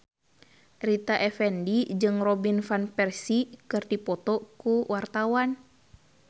Rita Effendy jeung Robin Van Persie keur dipoto ku wartawan